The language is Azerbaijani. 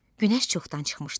Günəş çoxdan çıxmışdı.